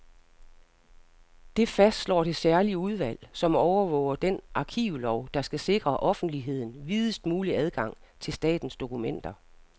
Det fastslår det særlige udvalg, som overvåger den arkivlov, der skal sikre offentligheden videst mulig adgang til statens dokumenter.